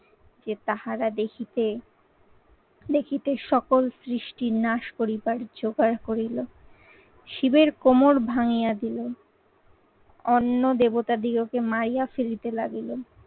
তাহারা দেখিতে দেখিতে সকল সৃষ্টির নাশ করিবার জোগাড় করিল। শিবের কোমর ভাঙিয়া দিল। অন্য দেবতা দিগকে মারিয়া ফেলিতে লাগিলো।